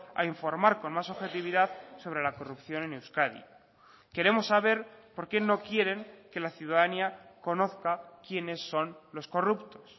a informar con más objetividad sobre la corrupción en euskadi queremos saber por qué no quieren que la ciudadanía conozca quiénes son los corruptos